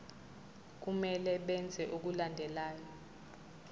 kumele benze okulandelayo